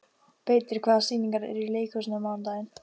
Beitir, hvaða sýningar eru í leikhúsinu á mánudaginn?